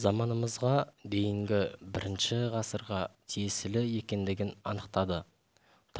заманымызға дейінгі бірінші ғасырға тиесілі екендігін анықтады